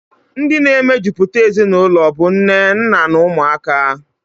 Ndi na-emejuputa ezinụlọ bụ nne, nna, na umuaka.